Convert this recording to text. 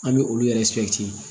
An bɛ olu yɛrɛ